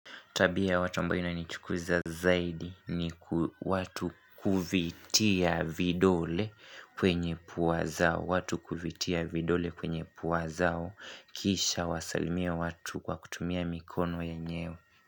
Tabia watu ambayo inanichukuza zaidi ni watu kuvitia vidole kwenye pua zao. Watu kuvitia vidole kwenye pua zao. Kisha wasalimie watu kwa kutumia mikono yanyewe.